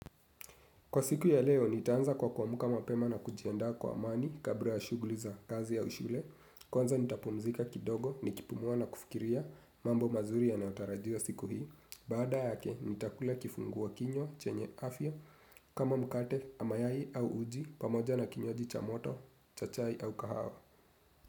Kwa siku ya leo, nitaanza kwa kuamka mapema na kujiandaa kwa amani kabla ya shughli za kazi au shule. Kwanza nitapumzika kidogo, nikipumua na kufikiria, mambo mazuri yanayotarajiwa siku hii. Baada yake, nitakula kifungua kinywa, chenye afya, kama mkate na mayai au uji pamoja na kinywaji cha moto cha chai au kahawa.